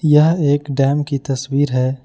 यह एक डैम की तस्वीर है।